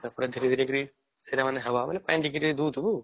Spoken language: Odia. ତା ପରେ ଧୀରେ ଧୀରେ କରିକି ସେଟା ମାନେ ହାୱା ହେଲେ ପାଣି ଟିକେ ଟିକେ ଦଉଥିବୁ